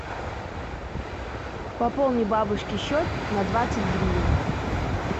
пополни бабушке счет на двадцать гривен